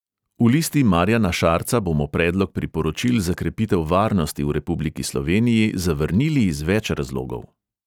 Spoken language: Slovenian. V listi marjana šarca bomo predlog priporočil za krepitev varnosti v republiki sloveniji zavrnili iz več razlogov.